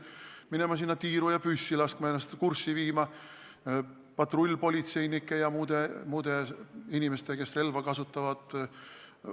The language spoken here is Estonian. Võib-olla peaksin ma minema tiiru ja püssi laskma, viima ennast kurssi patrullpolitseinike ja muude inimeste tegevusega, kes relva kasutavad.